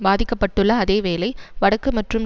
பாதிக்க பட்டுள்ள அதே வேளை வடக்கு மற்றும்